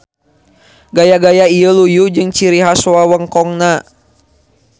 Gaya-gaya ieu luyu jeung ciri has wewengkonna.